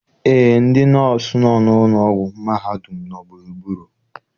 Eé, ndị nọọsụ nọ n' ụlọ ọgwụ mahadum nọ gburugburu.